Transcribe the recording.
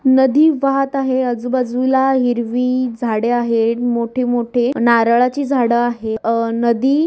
नदी वाहत आहे आजूबाजूला हिरवी झाडे आहे मोठे मोठे नारळाची झाड आहे. अ नदी--